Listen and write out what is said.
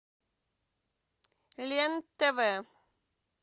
лен тв